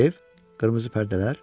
Ev, qırmızı pərdələr?